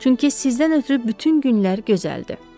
Çünki sizdən ötrü bütün günlər gözəldir.